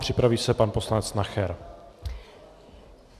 Připraví se pan poslanec Nacher.